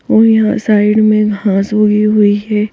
और यहां साइड में घास उगी हुई है।